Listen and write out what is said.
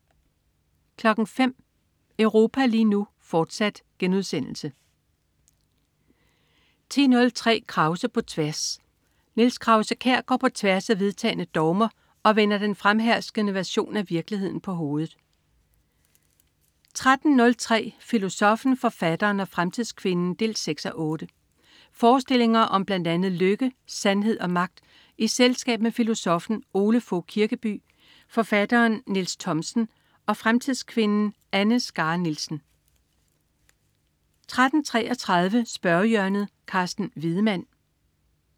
05.00 Europa lige nu, fortsat* 10.03 Krause på tværs. Niels Krause-Kjær går på tværs af vedtagne dogmer og vender den fremherskende version af virkeligheden på hovedet 13.03 Filosoffen, forfatteren og fremtidskvinden 6:8. Forestillinger om blandt andet lykke, sandhed og magt i selskab med filosoffen Ole Fogh Kirkeby, forfatteren Niels Thomsen og fremtidskvinden Anne Skare Nielsen 13.33 Spørgehjørnet. Carsten Wiedemann